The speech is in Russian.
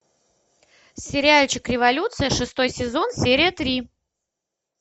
сериальчик революция шестой сезон серия три